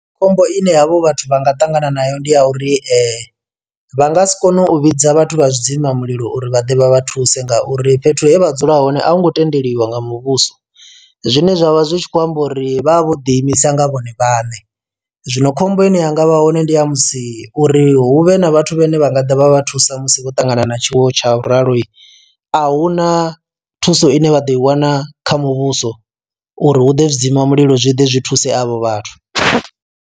Khombo ine havho vhathu vha nga ṱangana nayo ndi ya uri vha nga si kone u vhidza vhathu vha zwi dzima mulilo uri vha ḓe vha vha thuse ngauri fhethu he vha dzula hone a hu ngo tendeliwa nga muvhuso. Zwine zwavha zwi tshi khou amba uri vha vha vho ḓi imisa nga vhone vhaṋe zwino khombo ine yanga vha hone ndi ya musi uri huvhe na vhathu vhane vha nga ḓa vha vha thusa musi vho ṱangana na tshiwo tsha uralo ahuna thuso ine vha ḓo i wana kha muvhuso uri hu ḓe zwi dzima mulilo zwi ḓe zwi thuse avho vhathu.